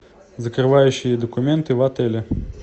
закрывающие документы в отеле